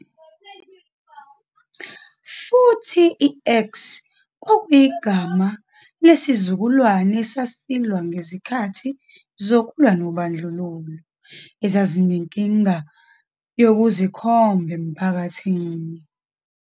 Futhi, i-X kwakuyigama lesizukulwane esasilwa ngezikhathi zokulwa nobandlululo, ezazinenkinga yokuzikhomba emphakathini.